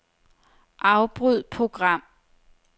Afbryd program.